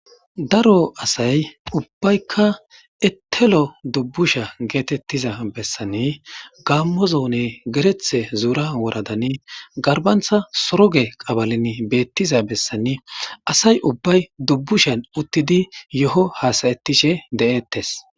Daro asay ubbaykka ettelo dubbusha geetettiza bessanni gammozone gerethe zuura woradani garbantha soroge qabalin beettiza bessanni asay ubbay dubbushan uttidi yo7o haasayettishe de'eettes.